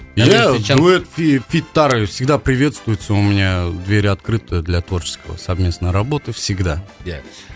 иә дуэт и фиттар всегда приветствуется у меня дверь открыта для творческого совместные работы всегда